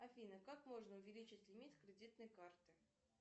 афина как можно увеличить лимит кредитной карты